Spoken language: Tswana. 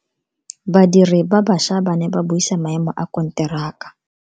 Badiri ba baša ba ne ba buisa maemo a konteraka.